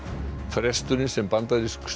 fresturinn sem bandarísk